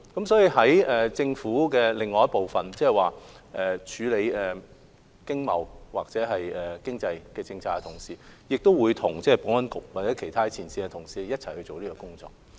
所以，在政府內處理經貿或經濟政策的同事，亦會與保安局或其他前線同事一起工作。